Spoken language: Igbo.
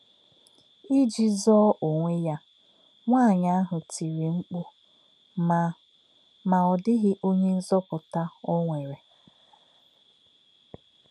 Íjì zọọ onwé yā, nwáànyị́ ahụ̄ “ tírì mkpù, mà, mà ọ̀ dí̄ghị onye nzọ̀pù̄tà o nwerè. ”